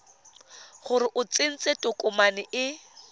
gore o tsentse tokomane e